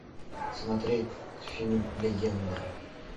смотреть фильм легенда